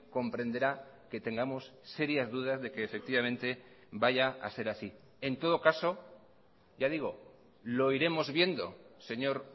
comprenderá que tengamos serias dudas de que efectivamente vaya a ser así en todo caso ya digo lo iremos viendo señor